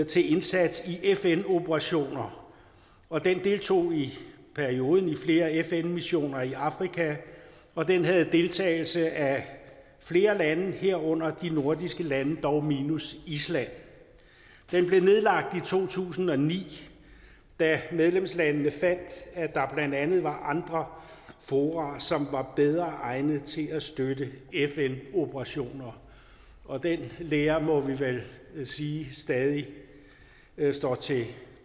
til indsats i fn operationer og den deltog i perioden i flere fn missioner i afrika og den havde deltagelse af flere lande herunder de nordiske lande dog minus island den blev nedlagt i to tusind og ni da medlemslandene fandt at der blandt andet var andre fora som var bedre egnede til at støtte fn operationer og den lære må vi vel sige stadig står til